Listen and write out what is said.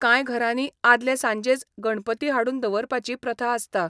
कांय घरांनी आदले सांजेच गणपती हाडून दवरपाची प्रथा आसता.